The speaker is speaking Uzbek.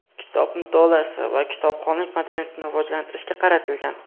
kitob mutolaasi va kitobxonlik madaniyatini rivojlantirishga qaratilgan.